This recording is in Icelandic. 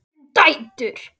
Við erum dætur!